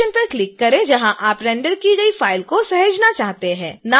उस लोकेशन पर क्लिक करें जहां आप रेंडर की गई फ़ाइल को सहेजना चाहते हैं